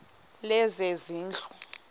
lezezindlu